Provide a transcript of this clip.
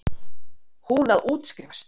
Hún að útskrifast.